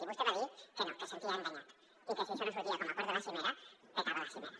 i vostè va dir que no que es sentia enganyat i que si això no sortia com a acord de la cimera petava la cimera